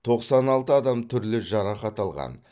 тоқсан алты адам түрлі жарақат алған